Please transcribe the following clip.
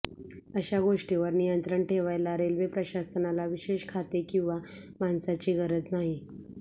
अश्या गोष्टीवर नियंत्रण ठेवायला रेल्वे प्रशासनाला विशेष खाते किव्हा माणसाची गरज नाही